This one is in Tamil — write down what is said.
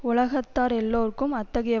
உலகத்தார் எல்லாருக்கும் அத்தகைய